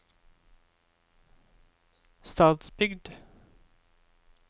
Stadsbygd